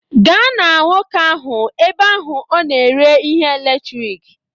Gaa na nwoke ahụ ebe ahụ ọ na-ere ihe eletrik